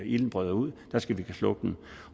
ilden bryder ud skal den kunne slukkes